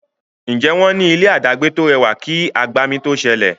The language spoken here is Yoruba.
Njé wón ní ilé adagbe to rẹwà kí agbami to sẹlẹ?